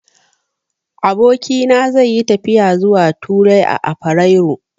Abokina zai yi tafiya zuwa Turai a afirairu.